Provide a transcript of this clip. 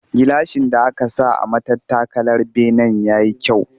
Gilashin da aka saka a matattakalar benen ya yi kyau